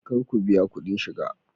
Kar ku biya kudin shiga!